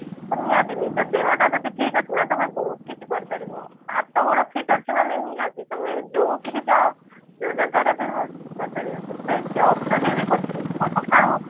ତ ନିହାତି ନିଜ ଦେହ ଟା ଯଦି ଠିକ ଅଛି ନା ତମେ ବହୁତ କିଛି କରିପାରିବ ହାତ ଗୋଡ fit ଅଛି ମାନେ ନିହାତି ତମେ ଯୋଉଠି କି ଯାଅ ଯୋଉ ଜାଗାରେ ବି ରୁହ କରି ପାରିବ ସେଥିରେ job ଯଦି ବି କରିପାରିବ ସେଟା ସକାଳୁ